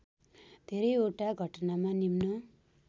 धेरैवटा घटनामा निम्न